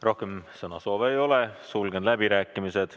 Rohkem sõnasoove ei ole, sulgen läbirääkimised.